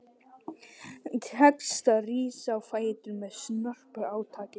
Tekst að rísa á fætur með snörpu átaki.